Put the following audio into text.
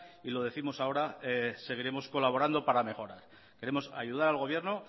y lo décimos ahora seguiremos colaborando para mejorar queremos ayudar al gobierno